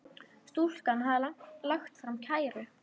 Stúlkan hafði lagt fram kæru.